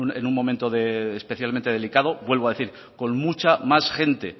en un momento especialmente delicado vuelvo a decir con mucha más gente